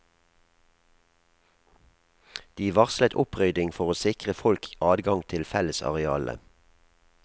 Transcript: De varslet opprydding for å sikre folk adgang til fellesarealene.